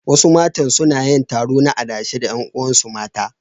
Wasu matan suna yin taro na adashe da ƴan uwansu mata.